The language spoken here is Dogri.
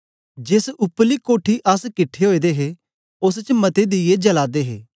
जेस उपरली कोठी अस किट्ठे ओए दे हे ओस च मते दीया जला दे हे